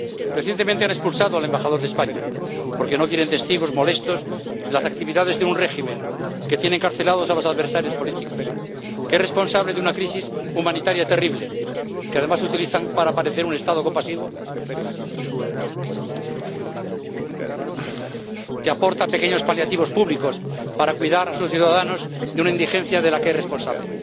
Recientemente han expulsado al embajador de España porque no quieren testigos molestos de las actividades de un régimen que tiene encarcelados a los adversarios políticos, que es responsable de una crisis humanitaria terrible, que además utilizan para parecer un Estado compasivo que aporta pequeños paliativos públicos para cuidar a sus ciudadanos de una indigencia de la que es responsable.